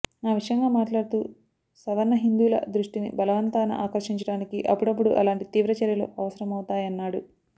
ఆ విషయంగా మాట్లాడుతూ సవర్ణ హిందువుల దృష్టిని బలవంతాన ఆకర్షించడానికి అపుడపుడు అలాంటి తీవ్ర చర్యలు అవసరమవుతాయన్నాడు